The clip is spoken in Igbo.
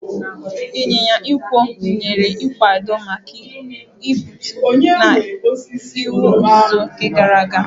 Ịnyịnya ịkwọ nyere nkwado maka igbutu na ịwa osisi na oge gara aga